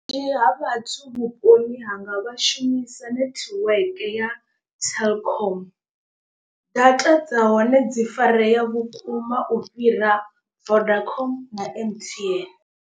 Vhunzhi ha vhathu vhuponi hanga vha shumisa network ya telkom. Data dza hone dzi farea vhukuma u fhira vodacom na M_T_N.